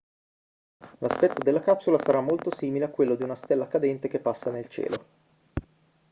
l'aspetto della capsula sarà molto simile a quello di una stella cadente che passa nel cielo